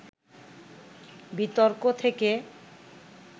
বিতর্ক থেকে